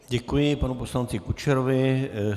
Děkuji panu poslanci Kučerovi.